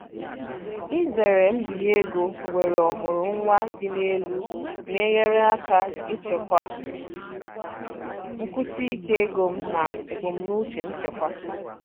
Izere mbinye ego nwere ọmụrụ nwa dị elu na-enyere aka ichekwa nkwụsi ike ego m na ebumnuche nchekwa.